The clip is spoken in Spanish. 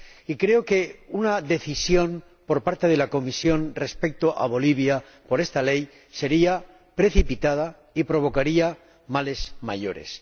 Y creo que una decisión por parte de la Comisión respecto a Bolivia, por esta ley, sería precipitada y provocaría males mayores.